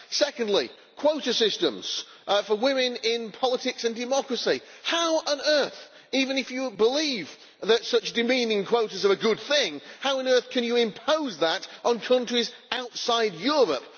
Secondly, quota systems for women in politics and democracy, how on earth even if you believe that such demeaning quotas are a good thing can you impose that on countries outside Europe?